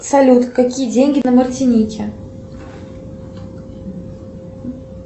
салют какие деньги на мартинике